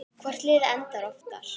Hvort liðið endar ofar?